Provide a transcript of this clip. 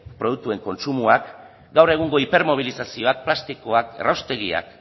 produktuen kontsumoak gaur egungo hipermobilizazioak plastikoak erraustegiak